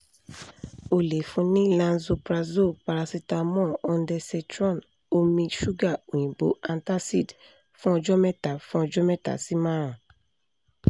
o le fun ni lanzoprazole paracetamol ondensetron omi ṣuga oyinbo antacid fun ọjọ mẹta fun ọjọ mẹta si marun